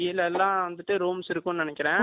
கீழலாம் வந்துட்டு rooms இருக்கும் நினைக்கிறேன்.